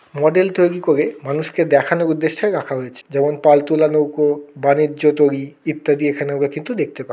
model তৈরী করে মানুষকে দেখানোর উদ্দেশ্যে রাখা হয়েছে যেমন পালতোলা নৌকো বাণিজ্য তৈরী ইত্যাদি এখানে কিন্তু দেখতে পা --